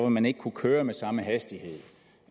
man ikke kunne køre med samme hastighed